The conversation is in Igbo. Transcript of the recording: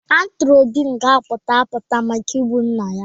A tụrụ Obi nga apụta apụta maka igbu nna ya.